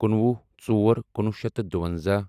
کُنوُہ ژور کُنوُہ شیٚتھ تہٕ دُووَنٛزاہ